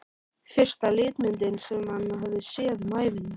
Fyrsta litmyndin sem hann hafði séð um ævina.